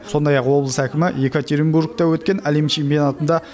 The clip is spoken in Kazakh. сондай ақ облыс әкімі екатеринбургте өткен әлем чемпионатында